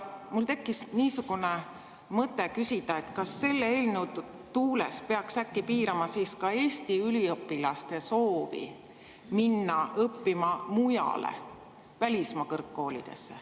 Mul tekkis mõte küsida, kas selle eelnõu tuules peaks äkki piirama ka Eesti üliõpilaste soovi minna õppima mujale, välismaa koolidesse.